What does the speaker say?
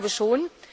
Ich glaube schon.